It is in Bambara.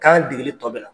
Kan degeli tɔ bɛ na